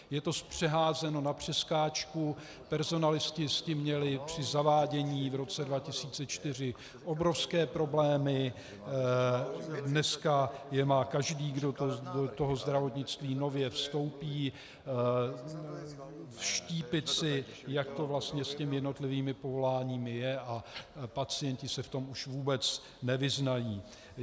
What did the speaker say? Je to zpřeházeno na přeskáčku, personalisté s tím měli při zavádění v roce 2004 obrovské problémy, dnes je má každý, kdo do toho zdravotnictví nově vstoupí, vštípit si, jak to vlastně s těmi jednotlivými povoláními je, a pacienti se v tom už vůbec nevyznají.